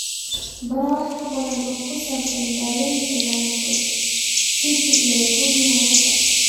Baro wax badan oo ku saabsan daaweynta lymphocytic leukemia raaga.